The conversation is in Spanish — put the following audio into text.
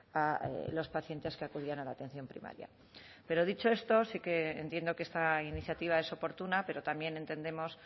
a los pacientes que acudían a la atención primaria pero dicho esto sí que entiendo que esta iniciativa es oportuna pero también entendemos